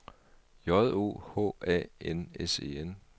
J O H A N S E N